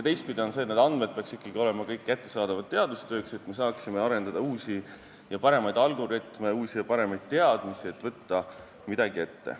Teistpidi peaksid need andmed ikkagi olema kõik kättesaadavad teadustööks, et me saaksime arendada uusi ja paremaid algoritme, uusi ja paremaid teadmisi, et võtta midagi ette.